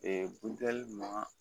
buntɛli ma